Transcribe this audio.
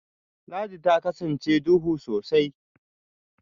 Ladi ta kasance duhu sosai